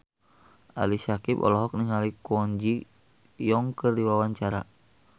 Ali Syakieb olohok ningali Kwon Ji Yong keur diwawancara